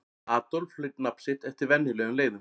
Adolf hlaut nafn sitt eftir venjulegum leiðum.